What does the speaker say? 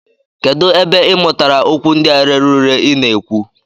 Kedụ ebe ị mụtara okwu ndị a rere ure ị na-ekwu?